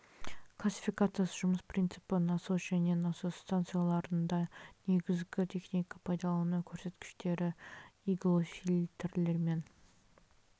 классификациясы жұмыс принципі насос және насос станцияларында негізгі техника пайдалану көрсеткіштері иглофильтрлер мен